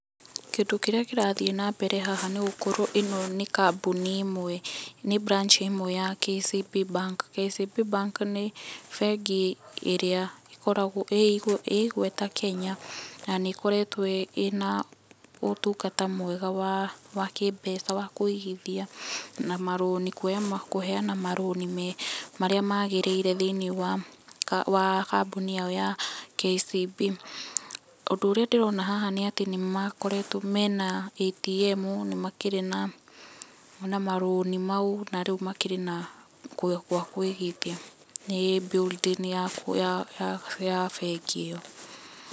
Kĩndu kĩrĩa kĩrathiĩ na mbere haha nĩ gũkorwo ĩno nĩ kambuni ĩmwe, nĩ [cs branch ĩmwe ya KCB bank. KCB bank nĩ bengi ĩrĩa ĩkoragwo ĩĩ igweta Kenya na nĩ ĩkoretwo ĩna ũtungata mwega wa kĩmbeca wa kũigithia, na ma loan kũheana ma loan marĩa maagĩrĩire thĩinĩ wa kambuni yao ya KCB. Ũndũ ũrĩa ndĩrona haha nĩ atĩ nĩ makoretwo me na ATM, ni makĩrĩ na ma loan mau na rĩu makĩrĩ na gwa kũigithia. Nĩ building ya bengi ĩyo.